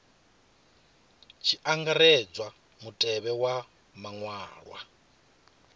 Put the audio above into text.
tshi angaredzwa mutevhe wa maṅwalwa